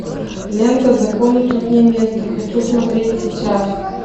лента закону тут не место хочу смотреть сейчас